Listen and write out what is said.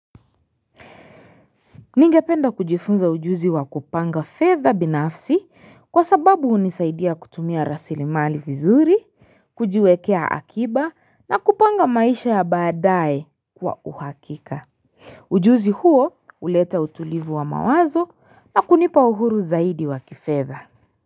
Ningependa kujifunza ujuzi wa kupanga fedha binafsi kwa sababu hunisaidia kutumia rasilimali vizuri, kujiwekea akiba na kupanga maisha ya baadaye kwa uhakika. Ujuzi huo huleta utulivu wa mawazo na kunipa uhuru zaidi wa kifedha.